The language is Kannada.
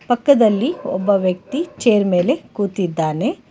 ಪಕ್ಕದಲ್ಲಿ ಒಬ್ಬ ವ್ಯಕ್ತಿ ಚೇರ್ ಮೇಲೆ ಕೂತಿದ್ದಾನೆ.